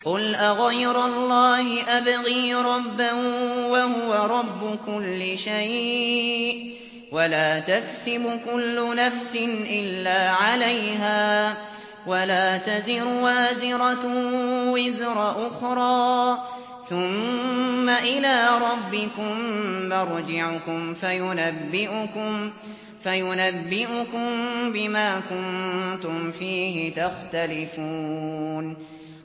قُلْ أَغَيْرَ اللَّهِ أَبْغِي رَبًّا وَهُوَ رَبُّ كُلِّ شَيْءٍ ۚ وَلَا تَكْسِبُ كُلُّ نَفْسٍ إِلَّا عَلَيْهَا ۚ وَلَا تَزِرُ وَازِرَةٌ وِزْرَ أُخْرَىٰ ۚ ثُمَّ إِلَىٰ رَبِّكُم مَّرْجِعُكُمْ فَيُنَبِّئُكُم بِمَا كُنتُمْ فِيهِ تَخْتَلِفُونَ